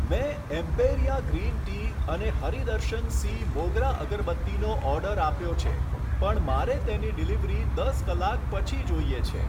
મેં Emperia green tea અને હરિ દર્શન સી મોગરા અગરબત્તીનો ઓર્ડર આપ્યો છે પણ મારે તેની ડિલિવરી દસ કલાક પછી જોઈએ છે.